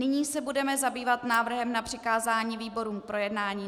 Nyní se budeme zabývat návrhem na přikázání výborům k projednání.